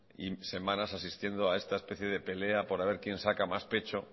y semanas asistiendo a esta especie de pelea por a ver quién saca más pecho